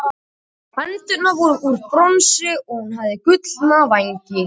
hendurnar voru úr bronsi og hún hafði gullna vængi